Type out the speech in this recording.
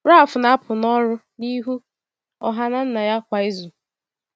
Ralph na-apụ n’ọrụ n’ihu ọha na nna ya kwa izu.